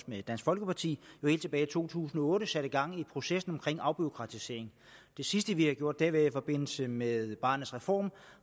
med dansk folkeparti helt tilbage i to tusind og otte satte gang i processen omkring afbureaukratisering det sidste vi har gjort har været i forbindelse med barnets reform